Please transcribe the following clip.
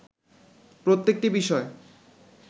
প্রত্যেকটি বিষয়